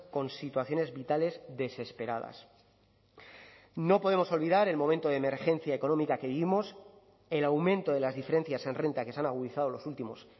con situaciones vitales desesperadas no podemos olvidar el momento de emergencia económica que vivimos el aumento de las diferencias en renta que se han agudizado los últimos